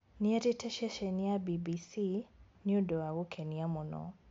Nĩerĩte ceceni ya BBC, "nĩ ũndũ wa gũkenia mũno"